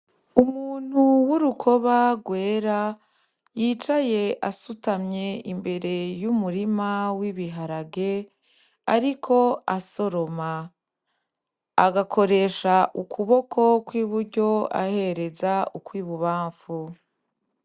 Umuntu w'urukoba rwera yicaye asutamye imbere y'umurima w'ibiharage, ariko asoroma; agakoresha ukoboko kw'iburyo ahereza ukw'ibubamfu.